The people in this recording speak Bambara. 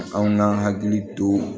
Anw ŋ'an hakili to